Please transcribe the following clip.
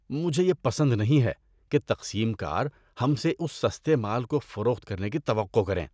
مجھے یہ پسند نہیں ہے کہ تقسیم کار ہم سے اس سستے مال کو فروخت کرنے کی توقع کریں۔